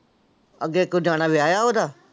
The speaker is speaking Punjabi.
ਅੱਗੇ ਕੋਈ ਜਾਣਾ ਵਿਆਹਿਆ ਉਹਦਾ?